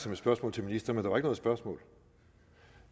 som et spørgsmål til ministeren og der var ikke noget spørgsmål